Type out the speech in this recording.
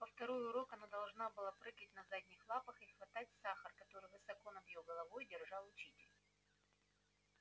во второй урок она должна была прыгать на задних лапах и хватать сахар который высоко над её головой держал учитель